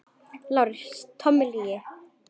LÁRUS: Tóm lygi!